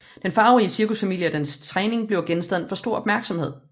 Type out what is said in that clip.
Den farverige cirkusfamilie og dens træning bliver genstand for stor opmærksomhed